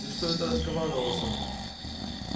ты что это раскомандовался